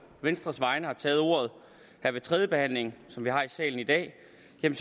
venstres vegne har taget ordet her ved tredjebehandlingen som vi har her i salen i dag